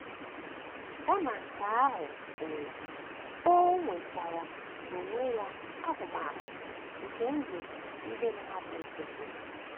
Kama nke ahụ, o, o nwetara n’onwe ya ahụmahụ nke ndụ ndị mmadụ nkịtị.